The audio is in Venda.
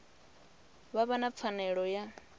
vha vha na pfanelo ya